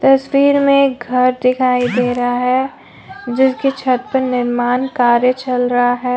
तस्वीर में घर दिखाई दे रहा है जिसके छत पर निर्माण कार्य चल रहा है।